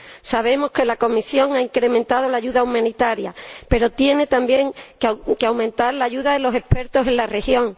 Sabemos que la Comisión ha incrementado la ayuda humanitaria, pero tiene también que aumentar la ayuda de los expertos en la región.